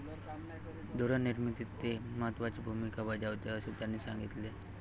धोरणनिर्मितीत ते महत्वाची भूमिका बजावते, असे त्यांनी सांगितले.